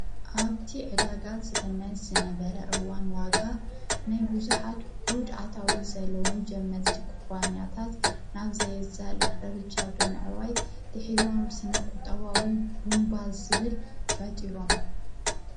ኣብቲ ኅዳጋዝ ግመት ዝነበረ እዋን ዋጋ ናይ ብዙኃት ዑድ ኣታዊት ዘለዉን ጀመጽቲ ኽባንያታት ናብ ዘየዛ ልቕደርጃ ብምዕዋይ ድኂሮም ስነ ቝጣዋዊ ቡምባ ዝብል ፈጢሮም።